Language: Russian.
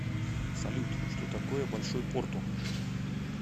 салют что такое большой порту